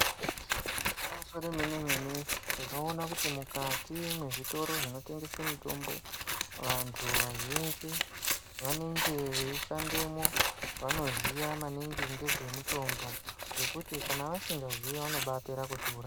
Igwinyiso remene-mene, tinoona kuti mukati mwezvitoro zvinotengese mitombo. Vantu vazhinji vanenge veishandemwo vanoziya maningi ngezvemutombo. Ngekuti kana vasingaziyi vanobapera kuti uraya.